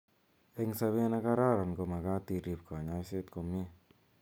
Eng' sabert negararan komagaat iriip kanyoiset komyee.